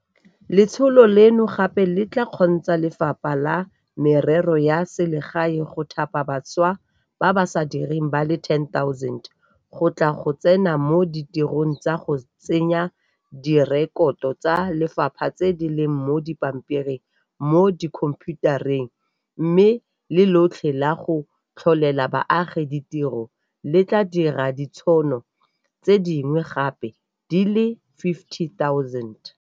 Letsholo leno gape le tla kgontsha Lefapha la Merero ya Selegae go thapa bašwa ba ba sa direng ba le 10 000 go tla go tsena mo ditirong tsa go tsenya direkoto tsa lefapha tse di leng mo dipampiring mo dikhomphiutareng, mme Le tlole la go Tlholela Baagi Ditiro le tla dira ditšhono tse dingwe gape di le 50 000.